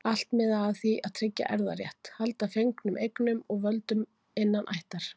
Allt miðaði að því að tryggja erfðarétt, halda fengnum eignum og völdum innan ættar.